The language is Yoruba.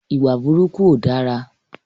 Ìwà burúkú ó dára.